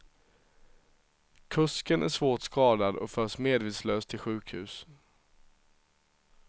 Kusken är svårt skadad och förs medvetslös till sjukhus.